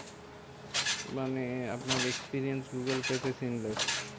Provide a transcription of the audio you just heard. মানে আপনার experience Google Pay তে shameless